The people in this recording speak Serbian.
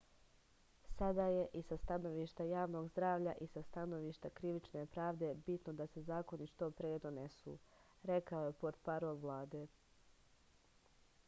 sada je i sa stanovišta javnog zdravlja i sa stanovišta krivične pravde bitno da se zakoni što pre donesu rekao je portparol vlade